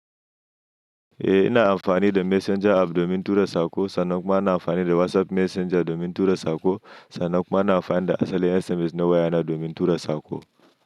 Eh ina amfani da messenger app domin tura saƙo, sannan kuma ina amfani da WhatsApp Messenger domin tura saƙo, sannan kuma ina amfani da asalin SMS na wayana domin tura saƙo.